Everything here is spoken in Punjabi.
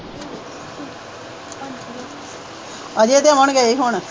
ਅਜੇ ਤਾਂ ਹੁਣ ਗਏ ਹੁਣ